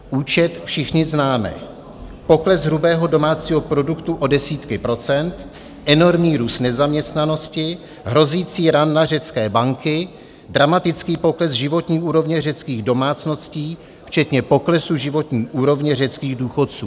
Účet všichni známe - pokles hrubého domácího produktu o desítky procent, enormní růst nezaměstnanosti, hrozící run na řecké banky, dramatický pokles životní úrovně řeckých domácností včetně poklesu životní úrovně řeckých důchodců.